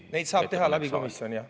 Neid saab teha läbi komisjoni, jah.